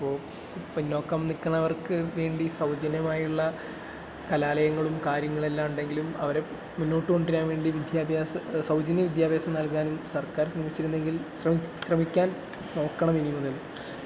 പിന്നോക്കം നിൽക്കുന്നവർക്ക് വേണ്ടി സൗജന്യമായുള്ള കലാലയങ്ങളും കാര്യങ്ങളുമെല്ലാമുണ്ടെങ്കിലും അവരെ മുന്നോട്ടു കൊണ്ടുവരാൻ വേണ്ടി വിദ്യാഭ്യാസം, സൗജന്യ വിദ്യാഭ്യാസം നല്കാൻ സർക്കാർ ശ്രമിച്ചിരുന്നെങ്കിൽ...ശ്രമിക്കാൻ നോക്കണം ഇനിമുതൽ..